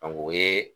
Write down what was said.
o ye